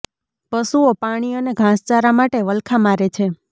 પશુઓ પાણી અને ઘાસચારા માટે વલખા મારે છે